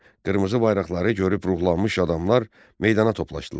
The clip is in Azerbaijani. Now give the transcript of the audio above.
Qırmızı bayraqları görüb ruhlanmış adamlar meydana toplaşdılar.